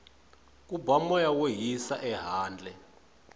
ku ba moya wo hisa ehandle